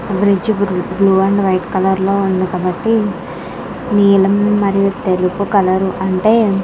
ఆ బ్రిడ్జి బృ blue and white colour లో ఉంది. కాబట్టి నీలం మరియు తెలుపు కలర్ అంటే --